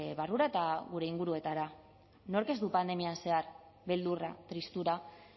barrura eta gure inguruetara nork ez du pandemian zehar beldurra tristura